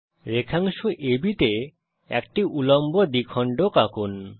রেখাংশ ABতে একটি উল্লম্ব দ্বিখণ্ডক আঁকুন